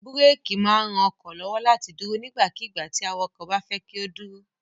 Búrékì máa ń ran ọkọ̀ lọ́wọ́ láti dúró nígbàkigbà tí awakọ̀ bá fẹ́ kí ó dúró.